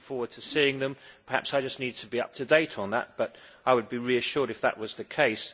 I am looking forward to seeing them. Perhaps I just need to be up to date on that, but I would be reassured if that was the case.